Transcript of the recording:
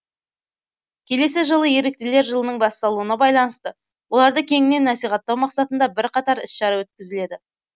келесі жылы еріктілер жылының басталуына байланысты оларды кеңінен насихаттау мақсатында бірқатар іс шара өткізіледі